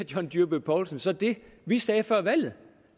john dyrby paulsen så det vi sagde før valget